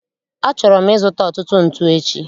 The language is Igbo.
Achọrọ m ịzụta ọtụtụ ntu echi